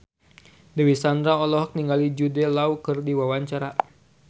Dewi Sandra olohok ningali Jude Law keur diwawancara